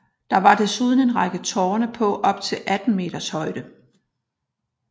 Der var desuden en række tårne på op til 18 meters højde